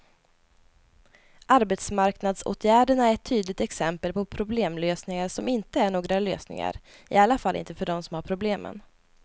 Arbetsmarknadsåtgärderna är ett tydligt exempel på problemlösningar som inte är några lösningar, i alla fall inte för dem som har problemen.